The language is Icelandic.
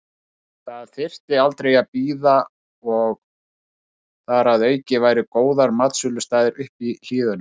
Það þyrfti aldrei að bíða og þar að auki væru góðir matsölustaðir uppi í hlíðunum.